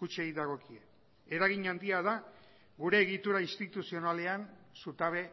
kutxei dagokie eragin handia da gure egitura instituzionalean zutabe